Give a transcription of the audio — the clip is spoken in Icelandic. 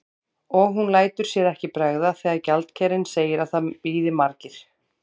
Og hún lætur sér ekki bregða þegar gjaldkerinn segir að það bíði margir.